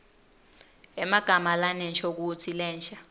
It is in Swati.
emagama lanenshokutsi lensha